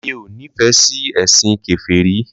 Mí ò nífẹ̀ẹ́ sí ẹ̀ṣìn Kèfèrí